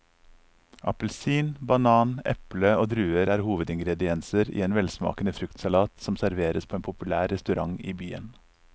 Appelsin, banan, eple og druer er hovedingredienser i en velsmakende fruktsalat som serveres på en populær restaurant i byen.